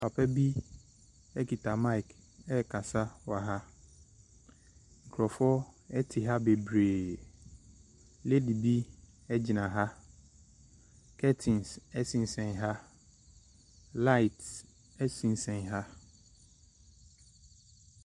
Papa bi kita mic rekasa wɔ ha. Nkurɔfoɔ te ha bebree. Lady bi gyina ha. Curtains sensɛn ha. Light sensɛn ha.